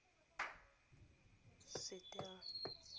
setella